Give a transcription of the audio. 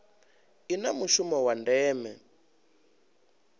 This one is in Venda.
i na mushumo wa ndeme